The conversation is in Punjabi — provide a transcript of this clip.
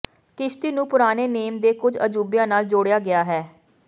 ਕਿਸ਼ਤੀ ਨੂੰ ਪੁਰਾਣੇ ਨੇਮ ਦੇ ਕੁਝ ਅਜੂਬਿਆਂ ਨਾਲ ਜੋੜਿਆ ਗਿਆ ਹੈ